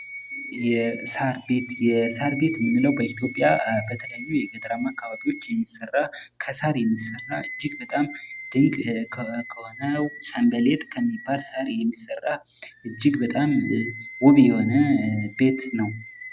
የሳር ቤት ምንለው በኢትዮጵያ በተለያዩ የገጠራማ አካባቢዎች የሚሰራ ፤ ከሳር የሚሰራ እጅግ በጣም ድንቅ ከሆነው ሰንበሌጥ ከሚባል ሳር የሚሰራ ፤ እጅግ በጣም ውብ የሆነ ቤት ነው ።